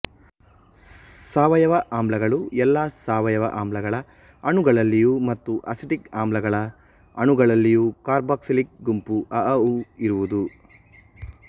ಸಾವಯವ ಆಮ್ಲಗಳು ಎಲ್ಲ ಸಾವಯವ ಆಮ್ಲಗಳ ಅಣುಗಳಲ್ಲಿಯೂ ಮತ್ತು ಅಸಿಟಿಕ್ ಆಮ್ಲಗಳ ಅಣುಗಳಲ್ಲಿಯೂ ಕಾರ್ಬಾಕ್ಸಿಲಿಕ್ ಗುಂಪು ಅಔಔಊ ಇರುವುದು